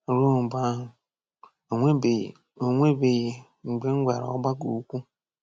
Ruo mgbe ahụ, o nwebeghị o nwebeghị mgbe m gwara ọgbakọ okwu!